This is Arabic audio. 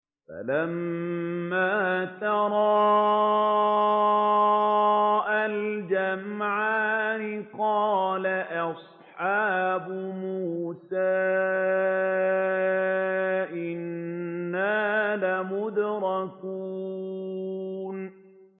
فَلَمَّا تَرَاءَى الْجَمْعَانِ قَالَ أَصْحَابُ مُوسَىٰ إِنَّا لَمُدْرَكُونَ